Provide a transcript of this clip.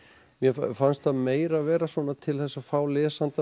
mér fannst það meira vera svona til þess að fá lesandann